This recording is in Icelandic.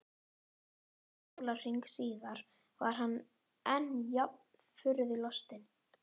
Hálfum sólarhring síðar var hann enn jafn furðu lostinn.